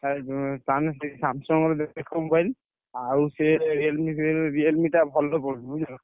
ଆଉ ଯୋଉ ତମେ ସେଇ Samsung ର ଦେଖ mobile ଆଉ ସିଏ Realme ଫିଏଲମି Realme ଟା ଭଲ ପଡୁନି ବୁଝିଲ।